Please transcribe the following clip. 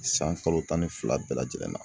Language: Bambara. San kalo tan ni fila bɛɛ lajɛlen na